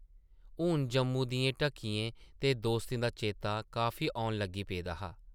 हून जम्मू दियें ढक्कियें ते दोस्तें दा चेता काफी औन लगी पेदा हा ।